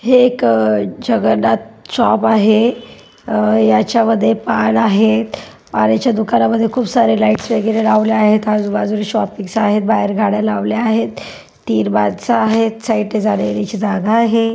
हे एक जगन्नाथ शॉप आहे. अह याच्या मध्ये पान आहेत. दुकानामध्ये खूप सारे लाइट्स वगैरे लावले आहेत. आजूबाजूला शॉप आहेत.बाहेर गाड्या लावल्या आहेत. तिन माणस आहेत. साईड ला जाण्यायेण्यासाठी जागा आहे.